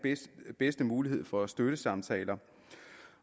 bedste mulighed for støttesamtaler